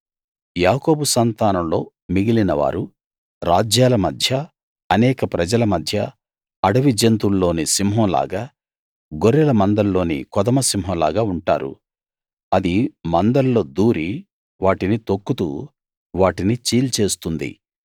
యాకోబు సంతానంలో మిగిలినవారు రాజ్యాల మధ్య అనేక ప్రజల మధ్య అడవి జంతువుల్లోని సింహం లాగా గొర్రెల మందల్లోని కొదమ సింహం లాగా ఉంటారు అది మందల్లో దూరి వాటిని తొక్కుతూ వాటిని చీల్చేస్తుంది